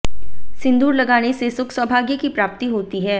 सिंदूर लगाने से सुख सौभाग्य की प्राप्ति होती है